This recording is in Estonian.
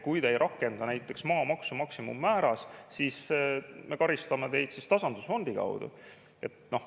Kui te ei rakenda näiteks maamaksu maksimummääras, siis me karistame teid tasandusfondi kaudu.